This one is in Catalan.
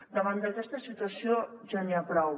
davant d’aquesta situació ja n’hi ha prou